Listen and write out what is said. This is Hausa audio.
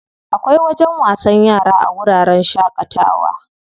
Akwai wajen wasan yara a wuraren shaƙatawa.